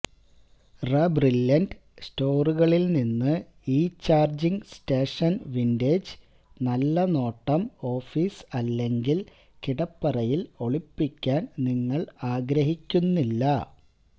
റബ്രില്ലിന്റ് സ്റ്റോറുകളിൽ നിന്ന് ഈ ചാർജിംഗ് സ്റ്റേഷൻ വിന്റേജ് നല്ല നോട്ടം ഓഫീസ് അല്ലെങ്കിൽ കിടപ്പറയിൽ ഒളിപ്പിക്കാൻ നിങ്ങൾ ആഗ്രഹിക്കുന്നില്ല